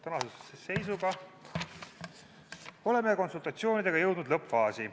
Tänase seisuga oleme konsultatsioonidega jõudnud lõppfaasi.